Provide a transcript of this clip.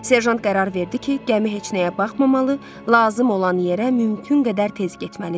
Serjant qərar verdi ki, gəmi heç nəyə baxmamalı, lazım olan yerə mümkün qədər tez getməlidir.